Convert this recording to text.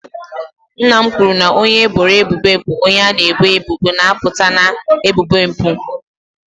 Nna m kwuru na onye eboro ebubo bụ onye a na-ebo ebubo na-apụta na ebubo mpụ.